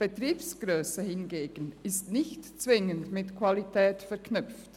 Betriebsgrösse hingegen ist nicht zwingend mit Qualität verknüpft.